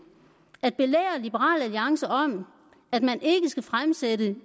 at belære liberal alliance om at man ikke skal fremsætte